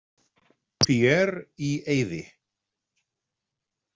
Pierre í eyði.